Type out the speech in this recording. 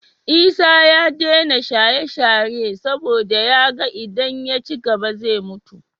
Isa ya dena shaye shaye saboda yaga idan ya cigaba zai mutu